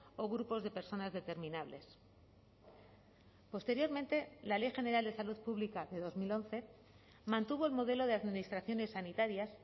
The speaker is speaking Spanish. o grupos de personas determinables posteriormente la ley general de salud pública de dos mil once mantuvo el modelo de administraciones sanitarias